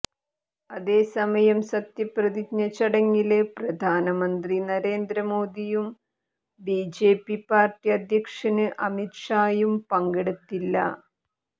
അതേസമയം സത്യപ്രതിജ്ഞ ചടങ്ങില് പ്രധാനമന്ത്രി നരേന്ദ്ര മോഡിയും ബിജെപി പാര്ട്ടി അധ്യക്ഷന് അമിത്ഷായും പങ്കെടുത്തില്ല